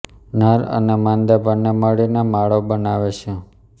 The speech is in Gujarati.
નર અને માદા બંને મળીને માળો બનાવે છે